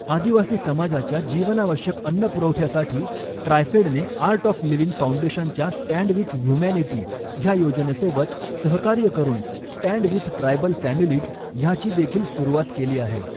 आदिवासी समाजाच्या जीवनावश्यक अन्नपुरवठ्यासाठी ट्रायफेडने आर्ट ऑफ लिव्हिंग फाऊंडेशनच्या स्टँन्ड विथ ह्यूमॅनिटी ह्या योजनेसोबत सहकार्य करून स्टँन्ड विथ ट्रायबल फॅमिलीज ह्याची देखील सुरूवात केली आहे.